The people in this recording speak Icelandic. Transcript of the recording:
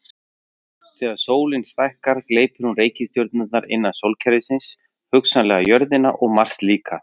Þegar sólin stækkar gleypir hún reikistjörnur innra sólkerfisins, hugsanlega jörðina og Mars líka.